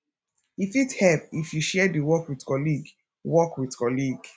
e fit help if you share di work with colleague work with colleague